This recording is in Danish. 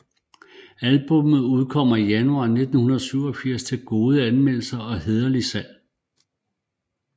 Albummet udkommer Januar 1987 til gode anmeldelser og hæderligt salg